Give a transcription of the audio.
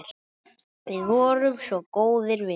Við vorum svo góðir vinir.